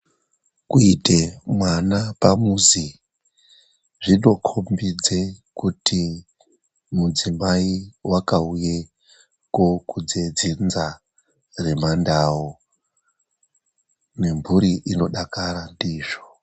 Kuuite mwana pamuzi zvinokombidze kuti mudzimai wakauye kokudze dzinza remaNdau, nemhuri inodakara ndizvo.